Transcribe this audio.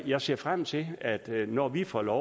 jeg ser frem til at når vi får lov